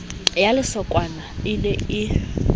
ya lesokwana e ne e